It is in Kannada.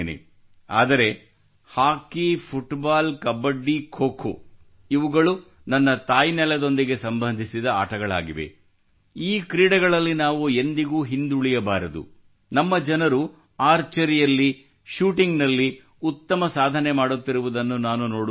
ಆದರೆ ಹಾಕಿ ಫುಟ್ಬಾಲ್ ಕಬಡ್ಡಿ ಖೋ ಖೋ ಇವುಗಳು ನಮ್ಮ ತಾಯ್ನನೆಲದೊಂದಿಗೆ ಸಂಬಂಧಿಸಿದ ಆಟಗಳಾಗಿವೆ ಈ ಕ್ರೀಡೆಗಳಲ್ಲಿ ನಾವು ಎಂದಿಗೂ ಹಿಂದುಳಿಯಬಾರದು ನಮ್ಮ ಜನರು ಆರ್ಚರಿಯಲ್ಲಿ ಶೂಟಿಂಗ್ ನಲ್ಲಿ ಉತ್ತಮ ಸಾಧನೆ ಮಾಡುತ್ತಿರುವುದನ್ನು ನಾನು ನೋಡುತ್ತಿದ್ದೇನೆ